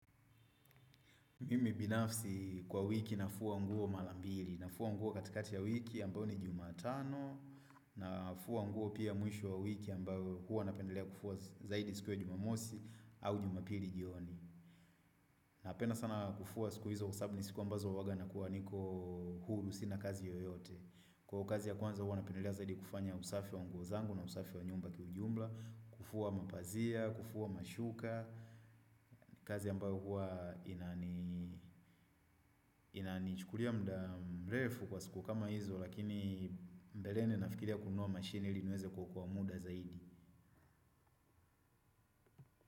Mimi binafsi kwa wiki nafua nguo mara mbili, nafua nguo katikati ya wiki ambayo ni jumatano, nafua nguo pia mwisho wa wiki ambayo huwa napendelea kufua zaidi siku ya jumamosi au jumapili jioni. Napenda sana kufua siku hizo kwa sababu ni siku ambazo huwanga nakuwa niko huru, sina kazi yoyote. Kwa hiyo kazi ya kwanza huwa napendelea zaidi kufanya usafi wa nguo zangu na usafi wa nyumba kiujumla, kufua mapazia, kufua mashuka, kazi ambayo huwa ina ni inani chukulia muda mrefu kwa siku kama hizo lakini mbeleni nafirilia kunua mashini ili niweze kuokoa muda zaidi.